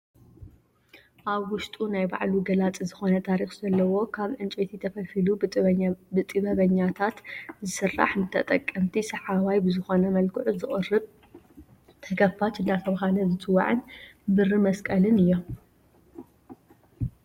ኣብ ውሽጡ ናይ ባዕሉ ገላፂ ዝኾነ ታሪኽ ዘለዎ ካብ እንጨይቲ ተፈልፊሉ ብጥበበኛታት ዝስራሕ ንተጠቀምቲ ሰሓባይ ብዝኾነ መልክዑ ዝቕርብ ተከፋች እንዳተብሃለ ዝፅዋዕን ብሪ መስቀልን እዮም።